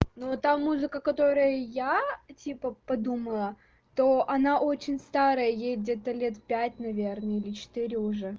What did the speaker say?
ну там музыка которая я типа подумала то она очень старая ей где-то лет пять наверное или четыре уже